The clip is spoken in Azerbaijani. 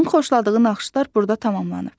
Onun xoşladığı naxışlar burda tamamlanıb.